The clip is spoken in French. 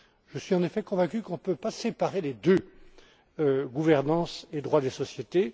Je suis en effet convaincu qu'on ne peut pas séparer les deux, gouvernance et droit des sociétés.